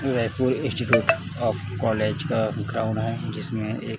Raipur institute of college का ground है जिसमें एक--